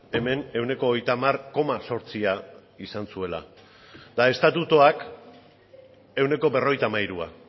hemen ehuneko hogeita hamar koma zortzia izan zuela eta estatutuak ehuneko berrogeita hamairua